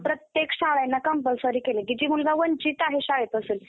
आणि प्रत्येक शाळेला compulsory केलंय कि जी मुलं वंचीत आहे शाळेपासून